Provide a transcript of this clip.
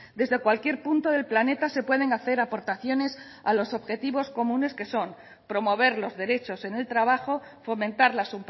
desde cualquier punto del planeta se pueden hacer aportaciones a los objetivos comunes que son promover los derechos en el trabajo fomentar las